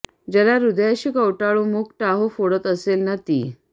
ज्याला हृदयाशी कवटाळून मूक टाहो फोडत असेल न ती